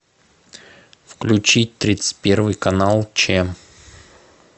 включи тридцать первый канал че